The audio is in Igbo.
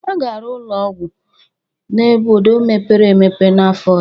A ga-arụ nnukwu ụlọ ọgwụ n'obodo mepere emepe n'afọ ọzọ